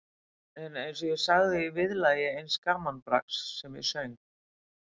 En eins og ég sagði í viðlagi eins gamanbrags sem ég söng